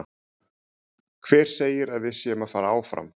Hver segir að við séum að fara áfram?